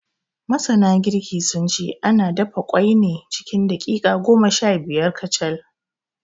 Masana girki, sun ce ana dafa ƙwai ne cikin daƙiƙa goma shabiyar kacal.